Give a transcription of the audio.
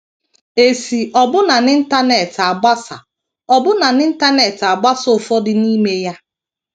E si ọbụna n’Internet agbasa ọbụna n’Internet agbasa ụfọdụ n’ime ya.